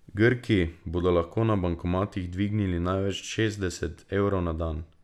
Grki bodo lahko na bankomatih dvignili največ šestdeset evrov na dan.